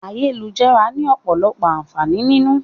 Ayélujára ni ọ̀pọ̀lọpọ̀ àǹfààní nínú.